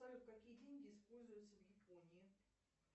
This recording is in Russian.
салют какие деньги используются в японии